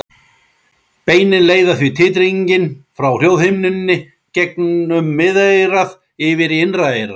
Beinin leiða því titringinn frá hljóðhimnunni gegnum miðeyrað yfir í innra eyra.